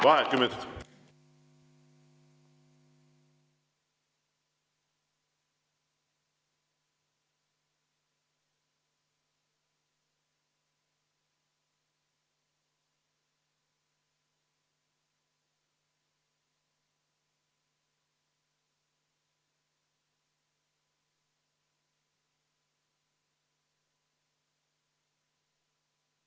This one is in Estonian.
Vaheaeg kümme minutit.